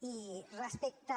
i respecte